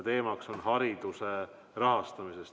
Teemaks on hariduse rahastamine.